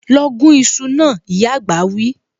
Lọ gún iṣu náà, ìyá àgbà wí